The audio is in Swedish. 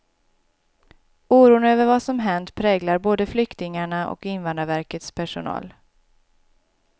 Oron över vad som hänt präglar både flyktingarna och invandrarverkets personal.